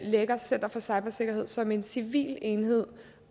lægger center for cybersikkerhed som en civil enhed